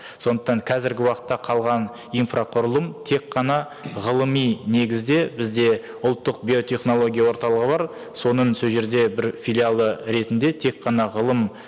сондықтан қазіргі уақытта қалған инфрақұрылым тек қана ғылыми негізде бізде ұлттық биотехнология орталығы бар соның сол жерде бір филиалы ретінде тек қана ғылым